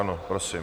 Ano, prosím.